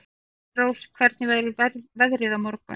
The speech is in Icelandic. Engilrós, hvernig verður veðrið á morgun?